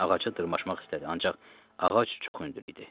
Ağaca dırmaşmaq istədi, ancaq ağac çox hündür idi.